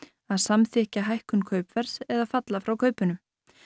að samþykkja hækkun kaupverðs eða falla frá kaupunum